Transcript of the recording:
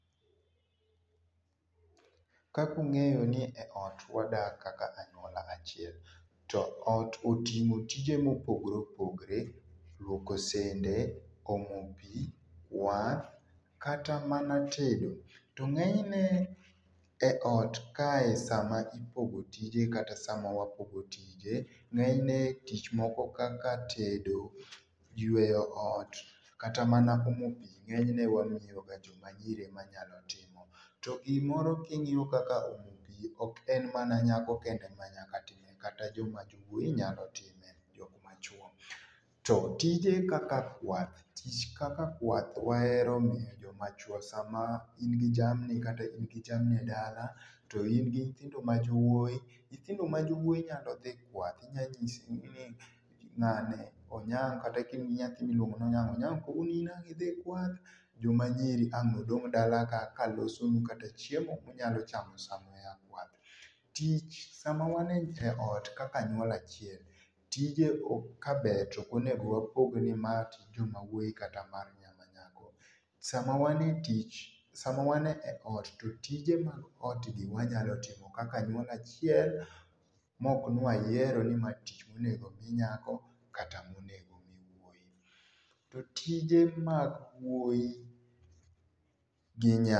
Kaka ung'eyo ni eot wadak kaka anyuola achiel, to ot oting'o tije mopogre opogre ,luoko sende, omo pii, kwath kata mana tedo. To ng'enyne eot kae sama ipogo tije kata sama wapogo tije, ng'enyne tich moko kaka tedo, yueyo ot kata mana omo pii ng'enyne wamiyoga joma nyiri ema nyalo timo. To gimoro king'iyo kaka omo pii ok en mana nyako kende ema nyaga timo kata jowuoyi nyalo time jok machuo. To tije kaka kwath tich kaka kwath wahero miyo jomachuo, sama in gi jamni kata in gi jamni edala to in gi nyithindo majowuoyi, nyithindo ma jowuoyi nyalo dhi kwath, inyalo nyisogi ni ng'ane, Onyango kata kain gi nyathi miluongo ni Onyango ,Onyango in kawuono ang' idhi kwath joma nyiri ang' nodong' dalaka kalosonu kata chiemo munyalo chamo sama ua kwath. Tich sama wan eot kaka anyuola achiel, tije ok kaber to ok onego wapog nimae mar joma wuoyi kata mar joma nyako. Sama wan etich sama wan eot to tije mag otgi wanyalo timo kaka anyuola achiel maok ni wayiero nimae tich monego mi nyako kata monego mi wuoyi. To tije mag wuoyi gi nyak.